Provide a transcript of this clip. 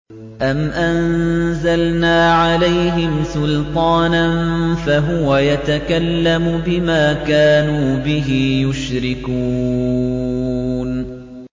أَمْ أَنزَلْنَا عَلَيْهِمْ سُلْطَانًا فَهُوَ يَتَكَلَّمُ بِمَا كَانُوا بِهِ يُشْرِكُونَ